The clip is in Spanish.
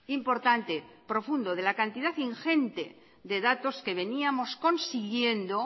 importante y profundo de la cantidad ingente de datos que veníamos consiguiendo